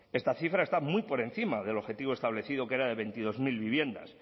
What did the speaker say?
esta cifra está muy por encima del objetivo establecido que era de veintidós mil viviendas